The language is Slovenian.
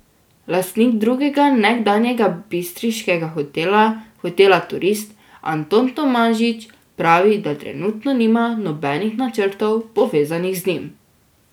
Lastnik drugega nekdanjega bistriškega hotela, hotela Turist, Anton Tomažič, pravi, da trenutno nima nobenih načrtov, povezanih z njim.